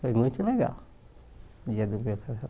Foi muito legal, no dia do meu